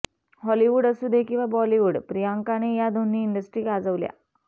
Hollywood असूदे किंवा Bollywood प्रियांकाने या दोन्ही इंडस्ट्री गाजवल्या